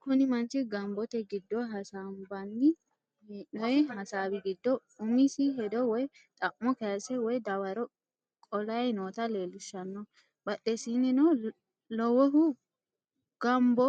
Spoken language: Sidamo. Kuni manchi gambote giddo hasambanni he'noy hasawi giddo umisi hedo woy xa'mo kayise woy dawaro qolay noota leellishanno badhesinnino lowohu gambo